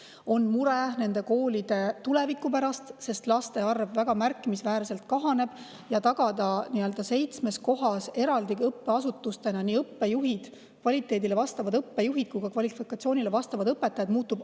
On mure nende koolide tuleviku pärast, sest laste arv seal väga märkimisväärselt kahaneb ja muutub aina keerulisemaks tagada seitsmes eraldi õppeasutuses nii kvaliteedi vastavad õppejuhid kui ka kvalifikatsiooniga õpetajad.